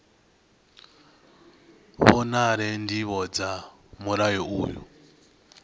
vhonale ndivho dza mulayo uyu